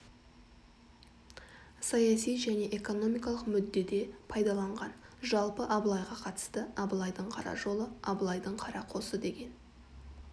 саяси және экономикалық мүддеде пайдаланған жалпы абылайға қатысты абылайдың қара жолы абылайдың қара қосы деген